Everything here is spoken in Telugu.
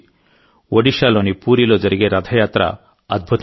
ఒడిషాలోని పూరిలో జరిగే రథయాత్ర అద్భుతం